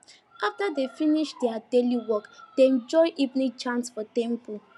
after dem finish their daily work dem join evening chant for temple